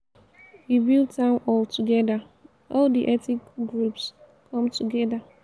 we build town hall together. all the ethnic groups come together.